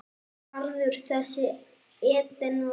Garður þessi Eden varð.